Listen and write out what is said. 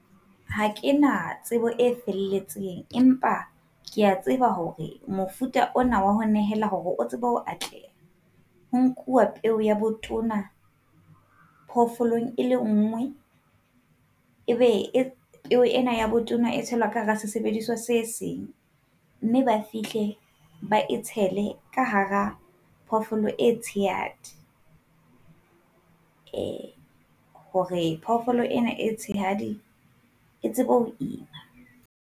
Ha ke na tsebo e felletseng, empa ke a tseba hore mofuta ona wa ho nehela hore o tsebe ho atleha ho nkuwa peo ya botona phofolong e le nngwe. Ebe peo ena ya botona e tshelwa ka hara sesebediswa se seng, mme ba fihle ba e tshele ka hara phoofolo e tshehadi. Eh hore phoofolo ena e tshehadi e tsebe ho ima.